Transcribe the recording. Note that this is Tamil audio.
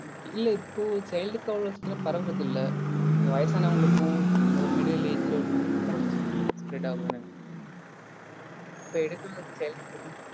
இல்ல இப்போ child க்கு அவ்ளொ சீக்கிரம் பரவரதில்ல. இந்த வயசானவங்களுக்கும் middle age ல உள்ளவங்களுக்கும்தா பரவும் spread ஆகும் இப்போ எடுக்கணு